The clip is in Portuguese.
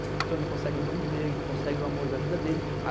Então ele consegue um bom emprego, consegue o amor da vida dele.